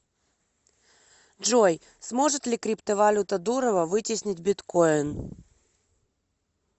джой сможет ли криптовалюта дурова вытеснить биткойн